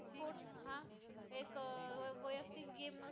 ती एक game नव्हती